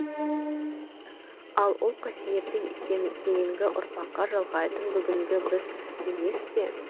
ал ол қасиетті кейінгі ұрпаққа жалғайтын бүгінгі біз емес пе